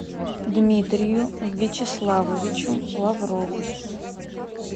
дмитрию вячеславовичу лаврову